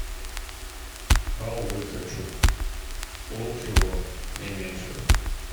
халвы хочу пол кило не меньше